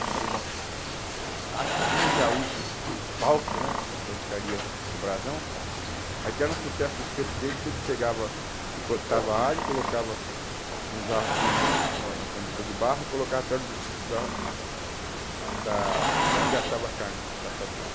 Aí eu falei, bom, aqui tinha um gaúcho falso, né, na churrascaria do Brasão, mas que era um sucesso o espeto dele, que ele pegava, picotava alho, colocava no jarro no no no cumbuca de barro e colocava perto da da de onde assava a carne, da assadinha.